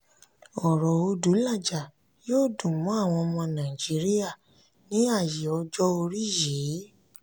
ọ̀rọ̀ odulaja yóò dùn mọ́ àwọn ọmọ nàìjíríà ní ààyè ọjọ́ orí yìí.